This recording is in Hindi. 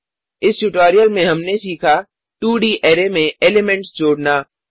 इस ट्यूटोरियल में हमने सीखा 2डी अरै में एलिमेंट्स जोडना